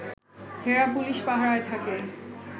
হেরা police পাহারায় থাকে